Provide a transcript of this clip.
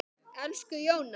Elsku Jóna.